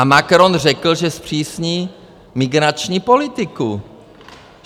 A Macron řekl, že zpřísní migrační politiku.